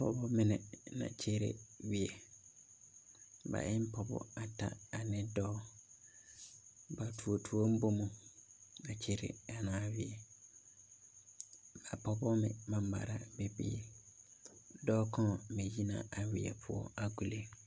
Pɔgemine la kyɛnɛ weɛ ba e ne pɔgeba bata ane dɔɔ ba toɔ toɔ ne noma a kyɛnɛ a weɛ a pɔgeba mare la biiri dɔɔ kaŋ me yi na a weɛ poɔ a kulo.